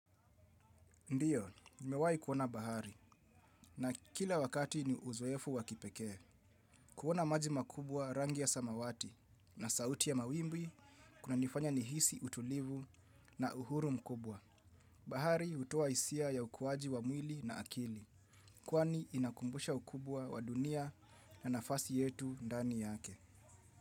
Ndiyo, nimewahi kuona bahari na kila wakati ni uzoefu wa kipekee. Kuona maji makubwa rangi ya samawati na sauti ya mawimbi kunanifanya nihisi utulivu na uhuru mkubwa. Bahari hutoa hisia ya ukuwaji wa mwili na akili. Kwani inakumbusha ukubwa wa dunia na nafasi yetu ndani yake.